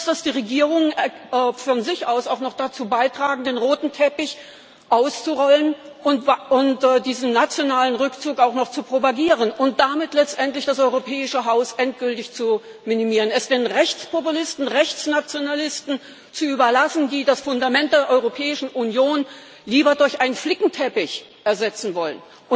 Bloß, dass die Regierungen von sich aus auch noch dazu beitragen, den roten Teppich auszurollen und diesen nationalen Rückzug auch noch zu propagieren und damit letztendlich das europäische Haus endgültig zu minimieren, es den Rechtspopulisten, den Rechtsnationalisten zu überlassen, die das Fundament der Europäischen Union lieber durch einen Flickenteppich ersetzen wollen.